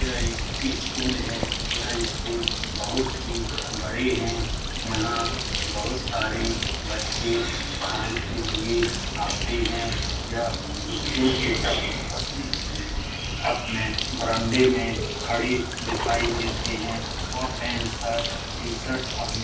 यह एक स्कूल है। यह स्कूल बहुत ही बड़े हैं। यहाँ बहुत सारी बच्चे पढ़ाई के लिए आते हैं। यह स्कूल की अपने बरांडे में खड़े दिखाई देते हैं और पैन्ट शर्ट टी-शर्ट पहने --